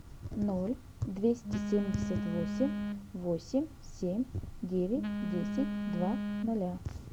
ноль двести семьдесят восемь восемь семь девять десять два ноля